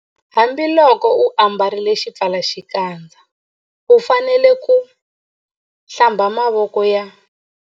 Hambiloko u ambarile xipfalaxikandza u fanele ku- Hlamba mavoko ya.